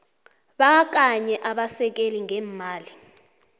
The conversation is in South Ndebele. kabanye abasekeli ngeemali